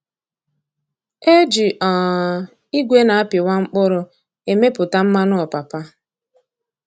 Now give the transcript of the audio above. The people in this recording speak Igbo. E ji um igwe na-apịwa mkpụrụ e mepụta mmanụ ọpụpa.